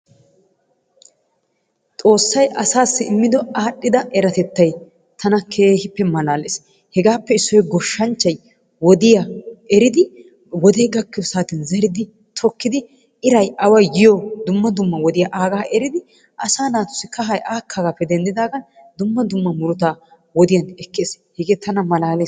Xossay assasi imiddo aadhiddaa eratettay tana keehippe malalees, hegaappe issoy goshshanchchay wodiya eriddi wode gakiyo sattiyan zeridi tokkidi irray away yiyoo dumma dumma wodiyaa agaa eridi asaa natussi kahay hegaappe denddidaagan dumma dumma muruttaa wodiyan ekees Hegee tana malalees.